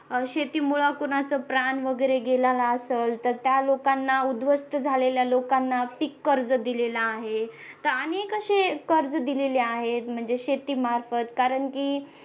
अह शेतीमूळ कुणाच प्राण वगैरे गेलेला असल तर त्या लोकांना उध्वस्त झालेल्या लोकांना पिक कर्ज दिलेला आहे तर अनेक असे कर्ज दिलेल्या आहेत म्हणजे शेती मार्फत कारण की